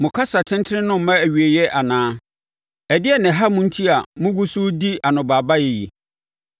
Mo kasa tentene no mma awieeɛ anaa? Ɛdeɛn na ɛha mo enti a mogu so redi anobaabaeɛ yi?